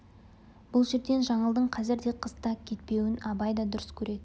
бұл жерден жаңылдың қазір де қыс та кетпеуін абай да дұрыс көреді